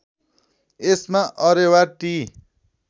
यसमा Areva T